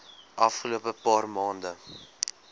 afgelope paar maande